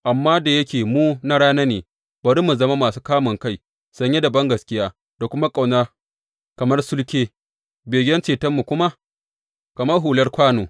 Amma da yake mu na rana ne, bari mu zama masu kamunkai, sanye da bangaskiya da ƙauna kamar sulke, begen cetonmu kuma kamar hular kwano.